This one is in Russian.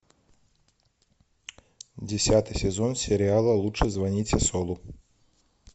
десятый сезон сериала лучше звоните солу